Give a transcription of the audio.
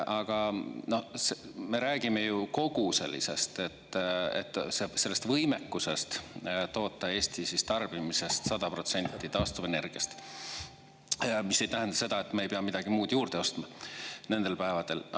Aga me räägime ju kogu sellisest sellest võimekusest toota Eesti tarbimisest 100% taastuvenergiast, mis ei tähenda seda, et me ei pea midagi muud juurde ostma nendel päevadel.